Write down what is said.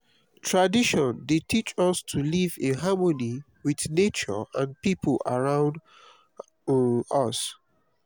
tradition dey teach us to live in harmony with nature and people around um us.